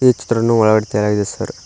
ಈ ಚಿತ್ರನ್ನು ಒಳಗ್ ತೆರಾಗಿದೆ ಸರ್ .